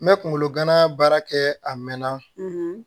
N bɛ kunkolo gana baara kɛ a mɛn na